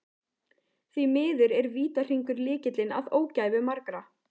Því miður er vítahringur lykillinn að ógæfu margra.